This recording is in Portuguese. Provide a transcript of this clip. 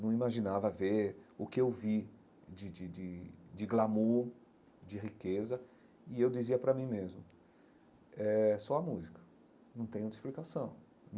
Não imaginava ver o que eu vi de de de de glamour, de riqueza, e eu dizia para mim mesmo, é só a música, não tenho outra explicação.